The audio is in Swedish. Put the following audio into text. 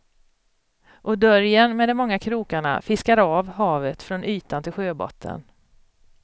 Och dörjen med de många krokarna fiskar av havet från ytan till sjöbotten.